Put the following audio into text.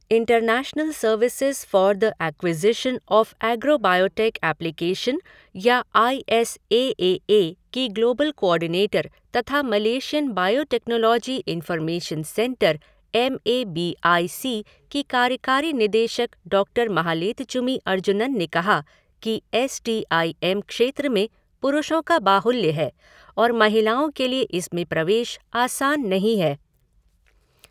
International services for the acquisition of agrobiotech application या I S A A A की global coordinator तथा Malaysian biotechnology information centre M A B I C की कार्यकारी निदेशक doctor Mahaletchumy Arjunan ने कहा कि एस टी ई एम क्षेत्र में पुरुषों का बाहुल्य है और महिलाओं के लिए इसमें प्रवेश आसान नहीं है।